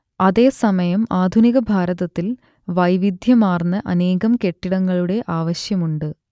അതേസമയം ആധുനിക ഭാരതത്തിൽ വൈവിധ്യമാർന്ന അനേകം കെട്ടിടങ്ങളുടെ ആവശ്യവുമുണ്ട്